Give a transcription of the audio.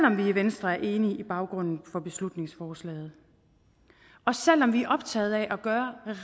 om vi i venstre er enige i baggrunden for beslutningsforslaget og selv om vi er optaget af at gøre